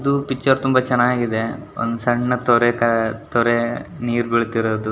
ಇದು ಪಿಕ್ಚರ್ ತುಂಬಾ ಚೆನ್ನಾಗಿದೆ ಒಂದು ಸಣ್ಣ ತೊರೆ ತೊರೆ ನೀರ್ ಬೀಳ್ತಾ ಇರೋದು-